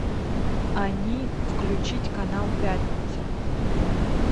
они включить канал пятница